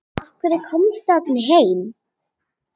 Af hverju komstu aldrei heim?